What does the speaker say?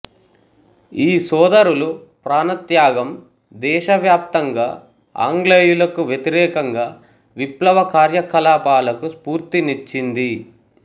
ఈ సోదరులు ప్రాణ త్యాగం దేశ వ్యాప్తంగా ఆంగ్లేయులకు వ్వతిరేకంగా విప్లవ కార్య కలాపాలకు స్ఫూర్తినిచ్చింది